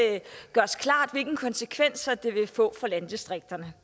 gøres klart hvilke konsekvenser den vil få for landdistrikterne